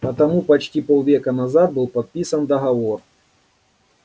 потому почти полвека назад был подписан договор